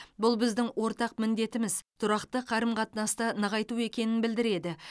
бұл біздің ортақ міндетіміз тұрақты қарым қатынасты нығайту екенін білдіреді